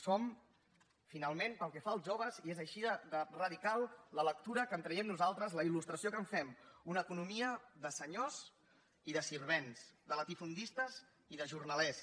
som finalment pel que fa als joves i és així de radical la lectura que en traiem nosaltres la il·lustració que en fem una economia de senyors i servents de latifundistes i de jornalers